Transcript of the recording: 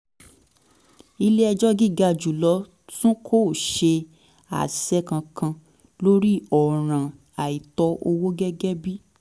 ilé ẹjọ́ gíga jù lọ tún kò ṣe àṣẹ kankan lórí ọ̀ràn àìtó owó gẹ́gẹ́ bí